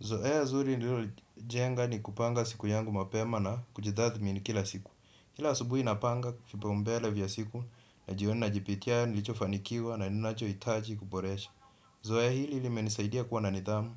Zoea zuri nililojenga ni kupanga siku yangu mapema na kujitathmi ni kila siku. Kila asubuhi napanga, vipaumbele vya siku, na jioni na jipitia nilichofanikiwa na ninacho hitaji kuboresha. Zoea hili lilimenisaidia kuwa na nidhamu,